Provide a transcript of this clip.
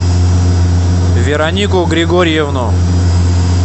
веронику григорьевну